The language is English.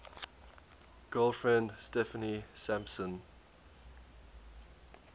girlfriend steffanie sampson